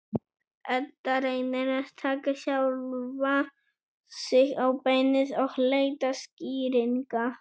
Edda reynir að taka sjálfa sig á beinið og leita skýringa.